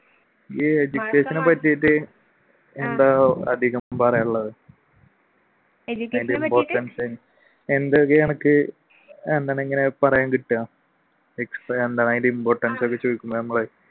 എന്താ അധികം പറയാനുള്ളത് എന്തൊക്കെയാണ് അനക്ക് എന്താണിങ്ങനെ പറയാൻ കിട്ടുക